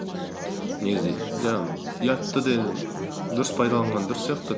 негізі жаңағы ұятты да дұрыс пайдаланған дұрыс сияқты